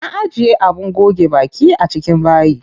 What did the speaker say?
Na ajiye abin goge baki a cikin bayi.